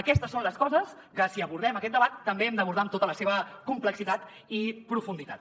aquestes són les coses que si abordem aquest debat també hem d’abordar amb tota la seva complexitat i profunditat